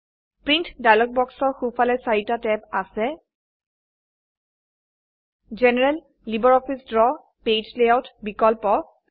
print dialog বক্সৰ সো ফালে চাৰিটা ট্যাব আছে general LibreOffice Draw page layout বিকল্প